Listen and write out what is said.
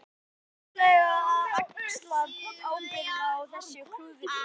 Hvernig ætlarðu að axla ábyrgð á þessu klúðri?